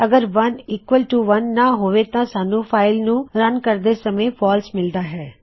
ਅਗਰ 1 ਬਰਾਬਰ 1 ਨਾਂ ਹੋਵੇ ਤਾਂ ਸਾੱਨ੍ਹ ਫਾਇਲ ਨੂੰ ਰਨ ਰਨ ਚਲਾਉਂਦੇ ਕਰਦੇ ਸਮੇਂ ਫਾਲਸ ਫਾਲਸੇ ਗਲਤ ਮਿਲ਼ਦਾ ਹੈ